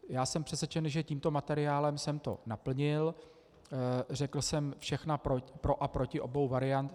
Já jsem přesvědčen, že tímto materiálem jsem to naplnil, řekl jsem všechna pro a proti obou variant.